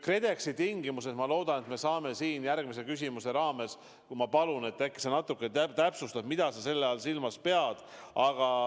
KredExi tingimused – ma loodan, et me saame järgmise küsimuse raames sellest rääkida, kuid ma palun, et äkki sa natukene täpsustad, mida sa silmas pead.